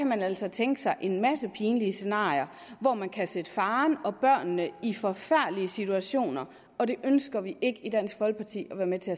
man altså tænke sig en masse pinlige scenarier hvor man kan sætte faren og børnene i forfærdelige situationer og det ønsker vi ikke i dansk folkeparti være med til